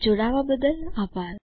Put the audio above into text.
જોડાવા બદ્દલ આભાર